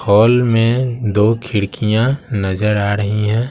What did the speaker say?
Hall में दो खिड़कियां नजर आ रही हैं।